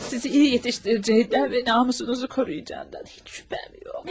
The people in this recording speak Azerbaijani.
Sizi iyi yetişdirəcəyindən və namusunuzu qoruyacağından heç şübhəm yox.